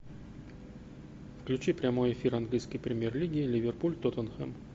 включи прямой эфир английской премьер лиги ливерпуль тоттенхэм